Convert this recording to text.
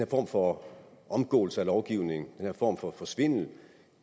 form for omgåelse af lovgivningen den her form for svindel